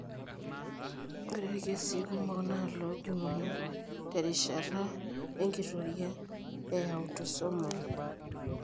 Ore irkesii kumok naa iloojung'uni terishata enkitoria eautosomal.